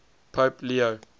pope leo